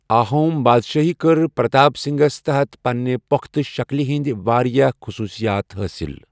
آہوم بادشٲہی کٔرۍ پرتاپ سنگھاہَس تحَت پنٛنہِ پۄختہٕ شکلہ ہٕنٛدۍ واریاہ خصوٗصیات حٲصل۔